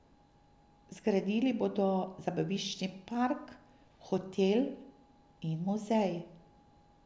Zgradili bodo zabaviščni park, hotel in muzej.